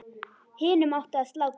Hinum átti að slátra.